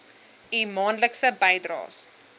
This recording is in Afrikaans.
u maandelikse bydraes